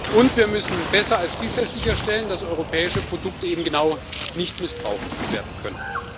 Und wir müssen besser als bisher sicherstellen, dass europäische Produkte eben genau nicht missbraucht werden können.